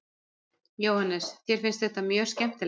Jóhannes: Þér finnst þetta mjög skemmtilegt?